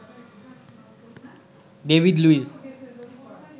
David Luiz